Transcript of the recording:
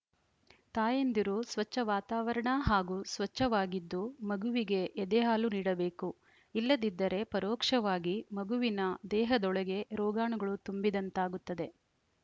ತಾಯಂದಿರು ಸ್ವಚ್ಛ ವಾತಾವರಣ ಹಾಗೂ ಸ್ವಚ್ಛವಾಗಿದ್ದು ಮಗುವಿಗೆ ಎದೆಹಾಲು ನೀಡಬೇಕು ಇಲ್ಲದಿದ್ದರೆ ಪರೋಕ್ಷವಾಗಿ ಮಗುವಿನ ದೇಹದೊಳಗೆ ರೋಗಾಣುಗಳು ತುಂಬಿದಂತಾಗುತ್ತದೆ